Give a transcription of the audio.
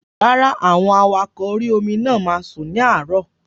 Rárá, àwọn awakọ̀ orí-omi náà máa sùn ní àárọ̀